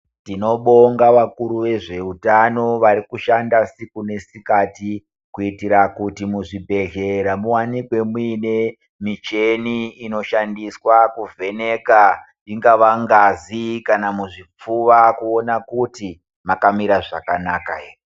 Tinobonga vakuru vezveutan varikushanda siku nesikati kuitira kuti muzvibhedhlera muwanikwe muine micheni inoshandiswa kuvheneka ingava ngazi kana muzvipfuva kuona kuti makamira zvakanaka ere.